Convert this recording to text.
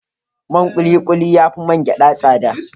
Man ƙuli-ƙuli ya fi man ja tsada.